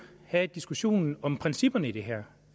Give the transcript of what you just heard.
have diskussionen om principperne i det her